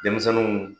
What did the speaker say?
Denmisɛnninw